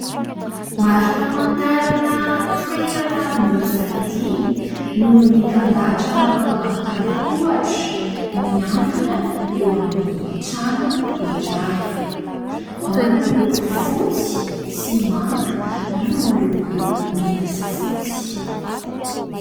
Mari-pamantarana toerana miisa dimy no mitandahatra manao antanan-tohatra mihantona eo amin'ny trano iray : ao no miloko fotsy sy manga, ao no miloko mena sy fotsy.